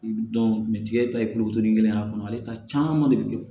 tigɛ ta ye kulukoro ni kelen ye a kɔnɔ ale ta caman de bɛ kɛ